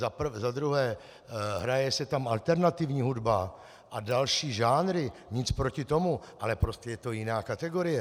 Za druhé, hraje se tam alternativní hudba a další žánry, nic proti tomu, ale prostě je to jiná kategorie.